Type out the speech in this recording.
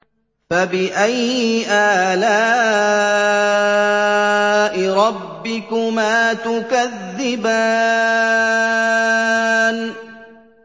فَبِأَيِّ آلَاءِ رَبِّكُمَا تُكَذِّبَانِ